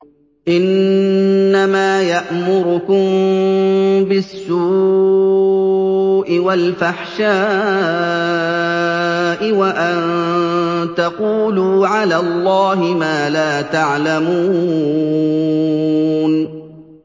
إِنَّمَا يَأْمُرُكُم بِالسُّوءِ وَالْفَحْشَاءِ وَأَن تَقُولُوا عَلَى اللَّهِ مَا لَا تَعْلَمُونَ